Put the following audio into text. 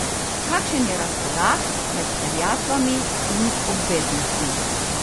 Kakšen je razkorak med terjatvami in obveznostmi?